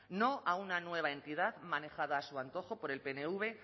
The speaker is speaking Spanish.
no a una nueva entidad manejado a su antojo por el pnv